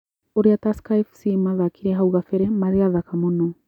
Ũrĩa Tusker Fc mathakire hau gabere marĩ athaka mũno